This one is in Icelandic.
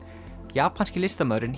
japanski listamaðurinn